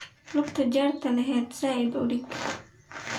Lugtadha jerta lehed zaid uudag.